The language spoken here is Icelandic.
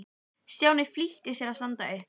Stjáni flýtti sér að standa upp.